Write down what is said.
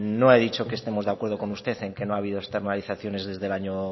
no he dicho que estemos de acuerdo con usted en que no ha habido externalizaciones desde el año